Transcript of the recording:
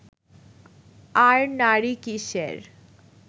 আর নারী কীসের